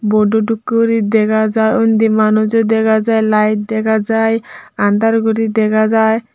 podu dokkeyuri dega jai undi manujo dega jai light dega jai andaar guri dega jai.